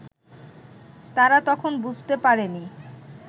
তারা তখন বুঝতে পারেনি